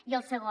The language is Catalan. i el segon